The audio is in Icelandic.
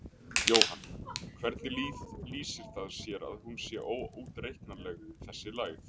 Jóhann: Hvernig lýsir það sér að hún sé óútreiknanleg þessi lægð?